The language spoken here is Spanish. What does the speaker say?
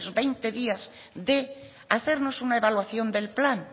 veinte días de hacernos una evaluación del plan